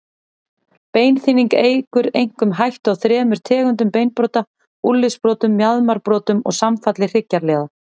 Beinþynning eykur einkum hættu á þremur tegundum beinbrota, úlnliðsbrotum, mjaðmarbrotum og samfalli hryggjarliða.